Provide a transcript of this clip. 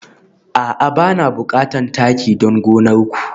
A'a bana bukatar taki don gonar ku